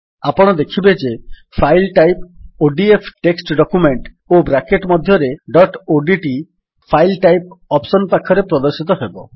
ଆପଣ ଦେଖିବେ ଯେ file type ODF text document ଓ ବ୍ରାକେଟ୍ ମଧ୍ୟରେ dot ODT file type option ପାଖରେ ପ୍ରଦର୍ଶିତ ହେବ